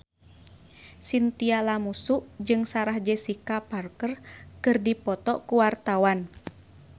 Chintya Lamusu jeung Sarah Jessica Parker keur dipoto ku wartawan